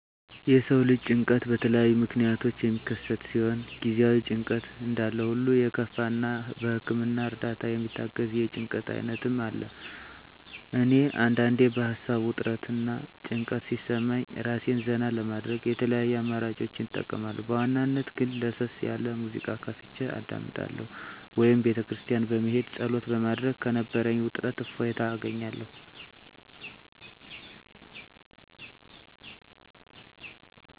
የሰው ልጅ ጭንቀት በተለያዩ ምክንያቶች የሚከሰት ሲሆን ጊዜአዊ ጭንቀት እንዳለሁሉ የከፋ እና በህክምና እርዳታ የሚታገዝ የጭንቀት አይነትም አለ። እኔ አንዳንዴ በሀሳብ ውጥረት እና ጭንቀት ሲሰማኝ እራሴን ዘና ለማድረግ የተለያዩ አማራጮችን እጠቀማለሁ በዋናነት ግን ለሰስ ያለ ሙዚቃ ከፍቸ አዳምጣለሁ ወይም ቤተክርስቲያን በመሄድ ፀሎት በማድረግ ከነበረኝ ውጥረት እፎይታ አገኛለሁ።